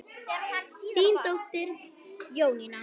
Þín dóttir Jónína.